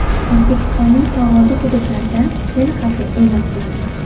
O‘zbekistonning tog‘oldi hududlarida sel xavfi e’lon qilindi.